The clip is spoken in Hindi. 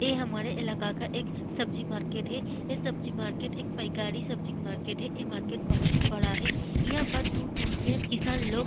ये हमारे इलाका का एक सब्जी मार्किट है ये सब्जी मार्किट एक सब्जी मार्किट है ये मार्केट बहुत ही बड़ा है यहाँ पर दूर-दूर से किसान लोग --